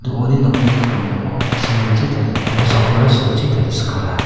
uni nokni krongko simen chi taria kosakkora silchi tariskaa.